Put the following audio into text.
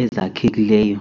ezakhekileyo.